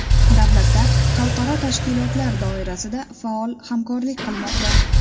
Davlatlar xalqaro tashkilotlar doirasida faol hamkorlik qilmoqda.